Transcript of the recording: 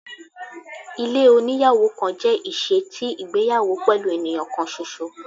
Ilé oníyàwò kan jẹ iṣe ti igbeyawo pẹlu eniyan kan ṣoṣo